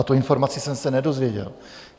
A tu informaci jsem se nedozvěděl.